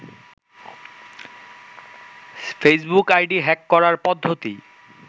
Facebook ID hack করার পদ্ধতি